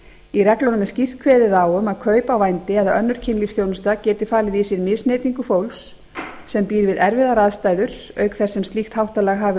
í reglunum er skýrt kveðið á um að kaup á vændi eða önnur kynlífsþjónusta geti falið í sér misneytingu fólks sem býr við erfiðar aðstæður auk þess sem slíkt háttalag hafi